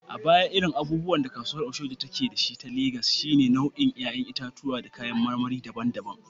A baya, irin abubuwan da kasuwar Oshodi ta Legas ke da su, shine nau’in ‘ya’yan itatuwa da kayan marmari daban-daban.